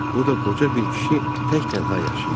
Burda qoca bir kişi tək tənha yaşayırdı.